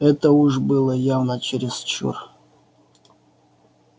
это уж было явно чересчур